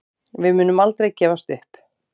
Við munum aldrei gefast upp